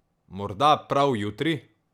Morda prav jutri?